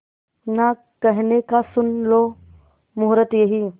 ना कहने का सुन लो मुहूर्त यही